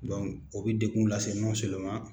o bɛ degun lase